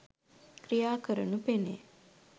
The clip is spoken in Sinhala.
ක්‍රියා කරනු පෙනේ.